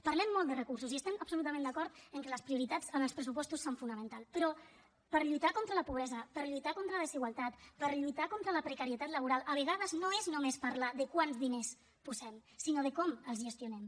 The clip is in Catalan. parlem molt de recursos i estem absolutament d’acord en què les prioritats en els pressupostos són fonamentals però per lluitar contra la pobresa per lluitar contra la desigualtat per lluitar contra la precarietat laboral a vegades no és només parlar de quants diners hi posem sinó de com els gestionem